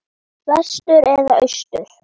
Vestur eða austur?